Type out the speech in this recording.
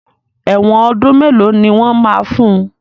Ẹ̀wọ́n ọdún mélòó ni wọ́n máa fun?